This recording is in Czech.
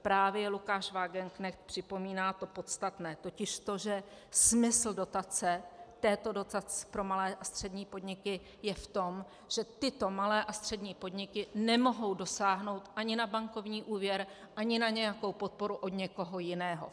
Právě Lukáš Wagenknecht připomíná to podstatné, totiž to, že smysl dotace, této dotace pro malé a střední podniky, je v tom, že tyto malé a střední podniky nemohou dosáhnout ani na bankovní úvěr ani na nějakou podporu od někoho jiného.